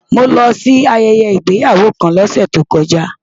Mo lọ sí ayẹyẹ ìgbéyàwó kan lọ́sẹ̀ tó kọjá.